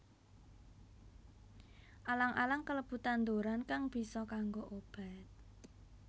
Alang alang kalebu tanduran kang bisa kanggo obat